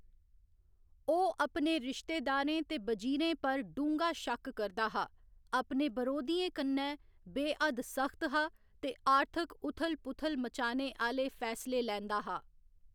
ओह्‌‌ अपने रिश्तेदारें ते वजीरें पर ढूंगा शक्क करदा हा, अपने बरोधियें कन्नै बे हद्द सख्त हा, ते आर्थिक उथल पुथल मचाने आह्‌‌‌ले फैसले लैंदा हा।